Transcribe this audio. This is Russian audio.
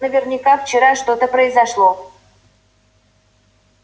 наверняка вчера что-то произошло